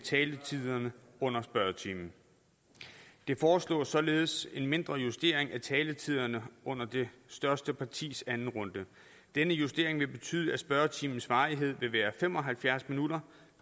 taletiderne under spørgetimen der foreslås således en mindre justering af taletiderne under det største partis anden runde denne justering vil betyde at spørgetimens varighed vil være fem og halvfjerds minutter